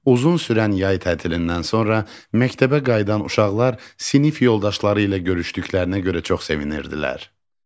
Uzun sürən yay tətilindən sonra məktəbə qayıdan uşaqlar sinif yoldaşları ilə görüşdüklərinə görə çox sevinirdilər.